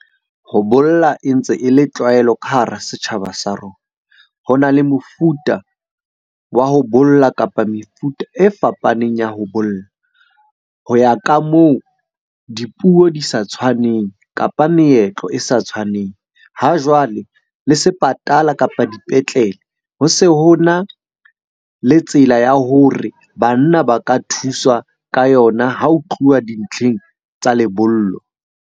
Ho bolla e ntse e le tlwaelo ka hara setjhaba sa rona. Ho na le mofuta wa ho bolla, kapa mefuta e fapaneng ya ho bolla ho ya ka moo dipuo di sa tshwaneng, kapa meetlo e sa tshwaneng. Ha jwale le sepatala, kapa dipetlele ho se ho na le tsela ya hore banna ba ka thuswa ka yona ha ho tluwa dintlheng tsa lebollo.